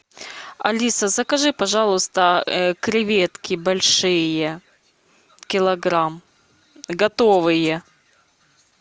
алиса закажи пожалуйста креветки большие килограмм готовые